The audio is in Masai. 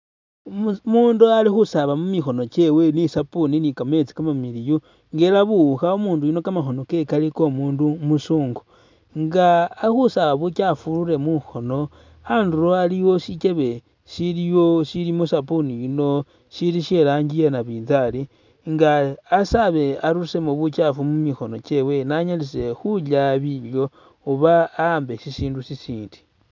Umundu ali khusaaba mumikhono kyewe ni sapuni ni kameetsi kamamiliyu nga era buwukha umundu yuno kamakhono ke kali komundu umuzungu nga ali khusaba bukyafu burule mukhono handuro haliwo shikyebe shiliwo shilimo sapuni yuno shili shelangi yenabizali nga asaabe arusemo bukyafu mumukhono kyewe ni anyalise khulya bilyo oba ahambe shishidu shishindi.